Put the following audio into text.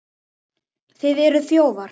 Þið eruð þjófar!